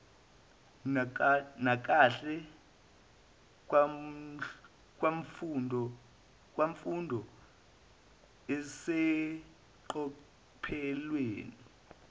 nakahle kwemfundo eseqophelweni